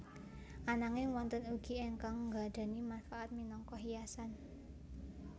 Ananging wonten ugi ingkang nggadhahi mangfaat minangka hiasan